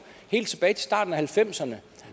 helt tilbage i starten af halvfemserne